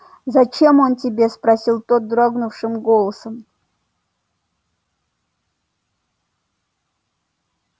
зачем он тебе спросил тот дрогнувшим голосом